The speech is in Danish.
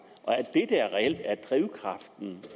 det er reelt er drivkraften